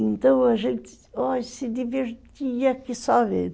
Então a gente se divertia aqui só vendo.